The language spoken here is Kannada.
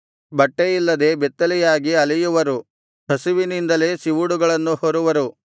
ಬಟ್ಟೆಯಿಲ್ಲದೆ ಬೆತ್ತಲೆಯಾಗಿ ಅಲೆಯುವರು ಹಸಿವಿನಿಂದಲೇ ಸಿವುಡುಗಳನ್ನು ಹೊರುವರು